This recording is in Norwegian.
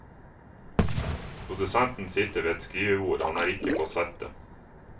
Produsenten sitter ved et skrivebord, han er ikke på settet.